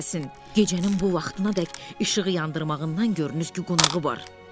Gecənin bu vaxtınadək işığı yandırmağından görünür ki, qonağı var.